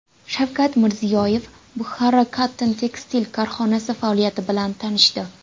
Shavkat Mirziyoyev Bukhara Cotton Textile korxonasi faoliyati bilan tanishdi.